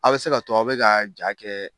A be se ka to a be ka ja kɛ